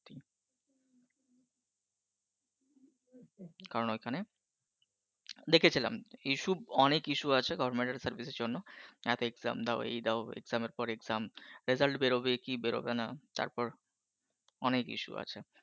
কারণ ওখানে দেখেছিলাম issue অনেক issue আছে government service এর জন্য। এক exam দাও এই দাও exam র পর exam result বেরোবে কি বেরোবে না তারপর অনেক issue আছে